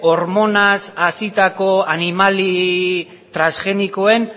hormonaz hazitako animali transgenikoen